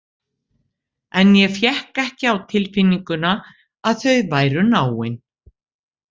En ég fékk ekki á tilfinninguna að þau væru náin.